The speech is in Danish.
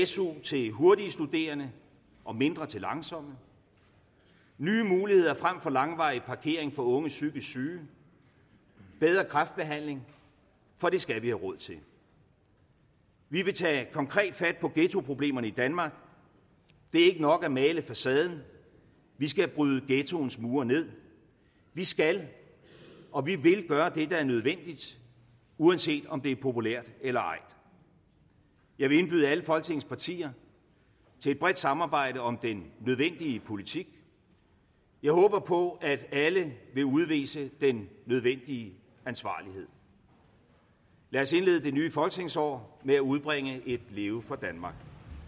su til hurtige studerende og mindre til langsomme nye muligheder frem for langvarig parkering for unge psykisk syge bedre kræftbehandling for det skal vi have råd til vi vil tage konkret fat på ghettoproblemerne i danmark det er ikke nok at male facaden vi skal bryde ghettoens mure nederst vi skal og vi vil gøre det der er nødvendigt uanset om det er populært eller ej jeg vil indbyde alle folketingets partier til et bredt samarbejde om den nødvendige politik jeg håber på at alle vil udvise den nødvendige ansvarlighed lad os indlede det nye folketingsår med at udbringe et leve for danmark